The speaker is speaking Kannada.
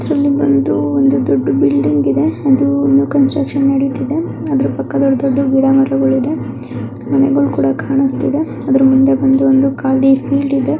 ಇದ್ರಲ್ಲಿ ಬಂದು ಒಂದು ದೊಡ್ಡ ಬಿಲ್ಡಿಂಗ್ ಇದೆ ಅದು ಬಂದು ಕನ್ಸ್ಟ್ರುಕನ್ ನಡೀತಿದೆ ಅದರ ಪಕ್ಕದಲ್ಲಿ ಡಿದ್ದ ಗಿಡಮರಗಳು ಇದೆ ಮನೆಗಳು ಕೂಡಾ ಕಾನಿಸ್ತಿದೆ ಅದರ ಮುಂದೆ ಬಂದು ಖಾಲಿ ಫೀಲ್ಡ್ ಇದೆ.